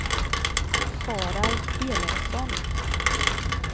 Harald Elofsson